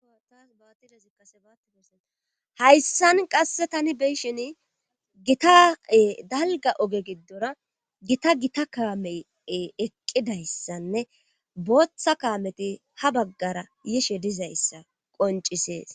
hayssan qasse tani beyshen gitae dalga oge giddora gita gita kaame eqqidayssanne booththa kaameti ha baggara yishe dizayssa qoncisees